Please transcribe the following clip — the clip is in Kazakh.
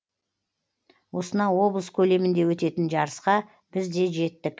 осынау облыс көлемінде өтетін жарысқа біз де жеттік